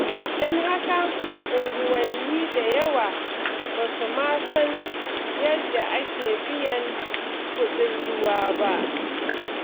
Don haka, unguwanni da yawa ba su ma san yadda ake biyan kuɗin ruwa ba.